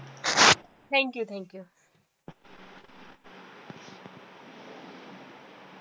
thank you, thank you